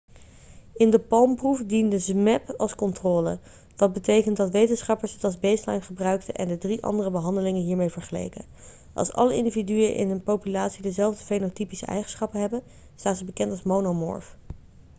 in de palm-proef diende zmapp als controle wat betekent dat wetenschappers het als baseline gebruikten en de drie andere behandelingen hiermee vergeleken.als alle individuen in een populatie dezelfde fenotypische eigenschappen hebben staan ze bekend als monomorf